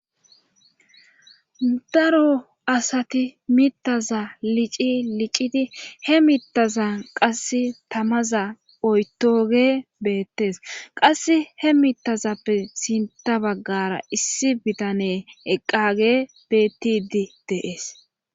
Daro asati mitaza lici liccidi he mittazan qasse tamaza oytoge beettes qasse he mittazappe sinta baggara issi bitane eqqage bettidi deees